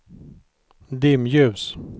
dimljus